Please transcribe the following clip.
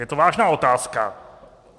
Je to vážná otázka.